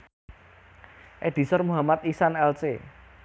Editor Muhammad Ihsan Lc